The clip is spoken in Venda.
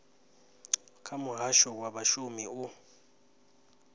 kha muhasho wa vhashumi u